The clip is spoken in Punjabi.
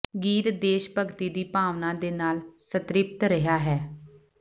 ਗੀਤ ਦੇਸ਼ ਭਗਤੀ ਦੀ ਭਾਵਨਾ ਦੇ ਨਾਲ ਸੰਤ੍ਰਿਪਤ ਰਿਹਾ ਹੈ